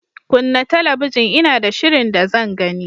Kunna talabijin Ina da shirin da zan gani.